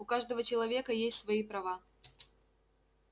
у каждого человека есть свои права